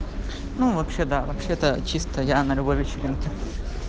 ну вообще да вообще-то чисто я на любой вечеринке